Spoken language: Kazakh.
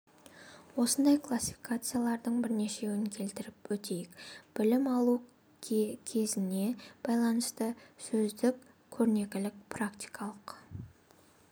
осындай классификациялардың бірнешеуін келтіріп өтейік білім алу көзіне байланысты сөздік көрнекілік практикалық